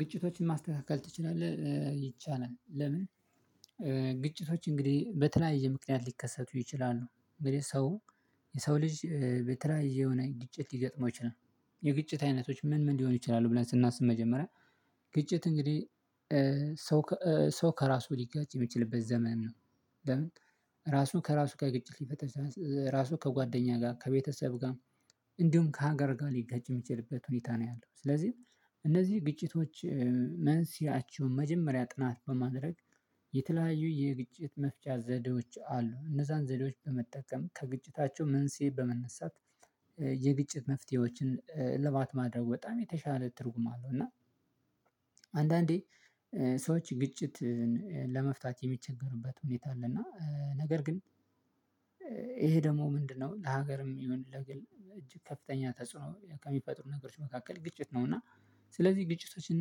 ግጭቶችን ማስተካከል ትችላለህ? ይችላል ለምን? ግጭቶች እንግዲህ በተለያየ ምክንያት ሊከሰቱ ይችላሉ። እንግዲህ ሰው የሰው ልጅ በተለያየ የሆነ ግጭት ሊገጥመው ይችላል። የግጭት አይነቶች ምን ምን ሊሆኑ ይችላሉ? ብለን ስናስብ መጀመሪያ ግጭት እንግዲህ ሰው ከራሱ ሊጋጭ የሚችልበት ዘመን ነው። ለምን? ራሱ ከራሱ ጋር ግጭት ሊፈጥር ይችላል ራሱ ከጓደኛ ጋር ከቤተሰብ ጋር እንዲሁም ከሀገር ጋር ሊጋጭ እሚችልበት ሁኔታ ነው ያለው። ስለዚህ እነዚህ ግጭቶች መንስኤያቸውን መጀመሪያ ጥናት በማድረግ። የተለያዩ የግጭት መፍቻ ዘዴዎች አሉ እነዛን ዘዴዎች በመጠቀም ከግጭታቸው መንስኤ በመነሳት የግጭት መፍትሄዎችን እልባት ማድረጉ በጣም የተሻለ ትርጉም አለው። እና አንዳንዴ ሰዎች ግጭትን ለመፍታት የሚቸገሩበት ሁኔታ አለ። እና ነገር ግን ይሄ ደግሞ ምንድነው? ለሀገርም ይሁን ለግል እጅግ ከፍተኛ ተጽዕኖ ከሚፈጥሩ ነገሮች መካከል ግጭት ነው። እና ስለዚህ ግጭቶችን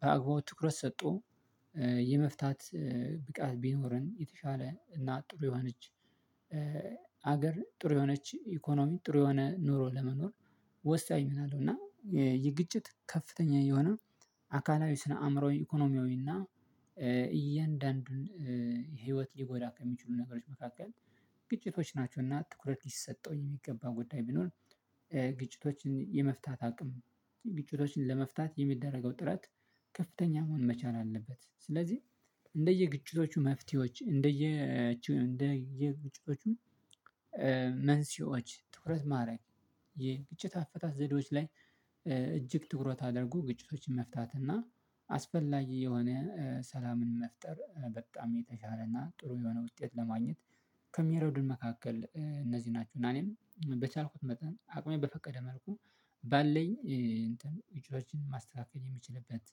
በአግባቡ ትኩረት ሰጦ የመፍታት ብቃት ቢኖረን የተሻለ እና ጥሩ የሆነች። ሀገር ጥሩ የሆነች ኢኮኖሚ ጥሩ የሆነ ኑሮ ለመኖር ወሳኝ ሚና አለው። እና የግጭት ከፍተኛ የሆነ አካላዊ ስነ አእምሯዊ ኢኮኖሚያዊ እና እያንዳንዱን ህይወት ሊጎዳ ከሚችሉ ነገሮች መካከል ግጭቶች ናቸውና ትኩረት ሊሰጠው የሚገባው ጉዳይ ቢኖር። ግጭቶችን የመፍታት አቅም ግጭቶችን ለመፍታት የሚደረገው ጥረት ከፍተኛ መሆን መቻል አለበት። ስለዚህ እንደየግጭቶቹ መፍትሄዎች እንደየግጭቶቹ መንስኤዎች ትኩረት ማድረግ የግጭት አፈታት ዘዴዎች ላይ። እጅግ ትኩረት አድርጎ ግጭቶችን መፍታት እና አስፈላጊ የሆነ ሰላምን መፍጠር በጣም የተቻለና ጥሩ የሆነ ውጤት ለማግኘት ከሚረዱን መካከል እነዚህ ናችሁ። እና እኔም በቻልኩት መጠን አቅሜ በፈቀደ መልኩ ባለኝ እንትን ግጭቶችን ማስተካከል የሚችልበት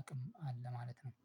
አቅም አለ ማለት ነው